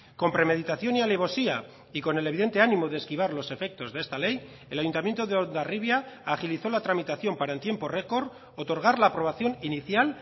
con premeditación y alevosía y con el evidente ánimo de esquivar los efectos de esta ley el ayuntamiento de hondarribia agilizó la tramitación para en tiempo récord otorgar la aprobación inicial